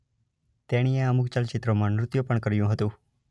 તેણીએ અમુક ચલચિત્રોમાં નૃત્ય પણ કર્યું છે.